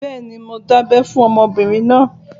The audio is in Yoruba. Bẹ́ẹ̀ni, mo dábẹ́ fún ọmọbìnrin náà